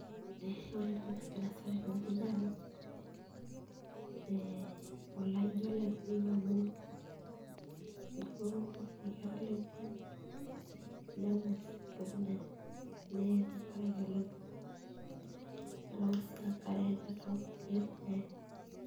Ee ore entoki nagira aasa tenewueji naa ee ijio olameyu amu ijio eketala ena ngues entoki nanya neye tenkaraki olameyu, nelau sii enkare nelau nkujit neye.